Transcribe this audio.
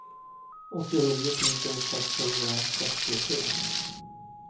åttionio tusen sexhundrasextiotre